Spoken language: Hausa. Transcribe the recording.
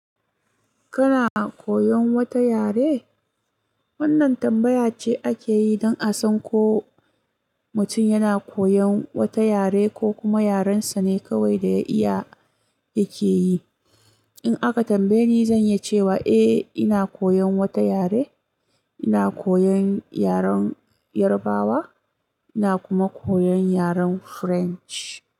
Kana koyon wata yare? Wannan tambaya ce ake yi don a san ko mutum yana koyon wata yare ko kuma yaren sa ne kawai da iya yake yi. In aka tambaye ni, zan yi cewa eh, ina koyon wata yare. Ina koyon yaren Yarbawa, ina kuma koyon yaren French.